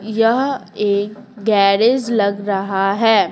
यह एक गैरेज लग रहा है।